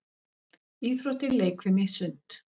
Íþróttir- leikfimi- sund